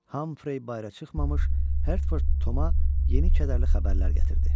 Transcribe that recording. Hamfrey bayıra çıxmamış, Hertford Toma yeni kədərli xəbərlər gətirdi.